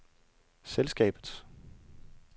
selskabets